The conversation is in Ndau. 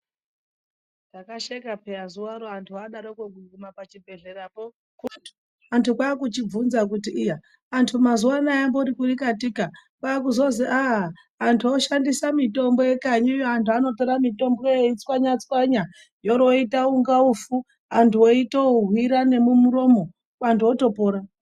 Ndakasheka peya zuvaro antu adaroko kuguma pachibhehlerapo antu kwaakuchivhunza kuti iya antu mazuvano amboripi katika kwaakuzozi ah antu oshandisa mitombo yekanyiyo. Antu anotora mitomboyo eitswanya-tswanya yooroita kunga ufu, antu weitoohwira nemumuromo, antu otopora.